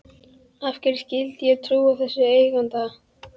Af hverju skyldi ég trúa þessum eiganda?